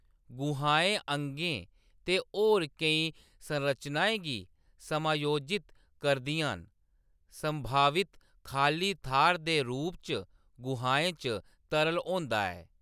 गुहाएं अंगें ते होर केईं संरचनाएं गी समायोजित करदियां न ; संभावित खाल्ली थाह्‌‌‌र दे रूप च गुहाएं च तरल होंदा ऐ।